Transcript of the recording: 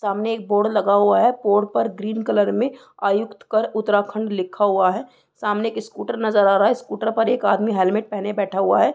सामने एक बोर्ड लगा हुआ है बोर्ड पर ग्रीन कलर में आयुक्त कर उत्तराखंड लिखा हुआ है सामने स्कूटर नजर आ रहा है स्कूटर पर एक आदमी हेलमेट पहने बैठा हुआ है।